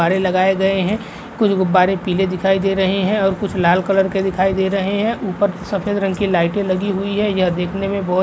गुब्बारे लगाए गए हैं। कुछ गुब्बारे पीले दिखाई दे रहे हैं और कुछ लाल कलर के दिखाई दे रहे हैं। ऊपर सफेद रंग की लाइटे लगी हुई हैं। यह देखने में बोहोत --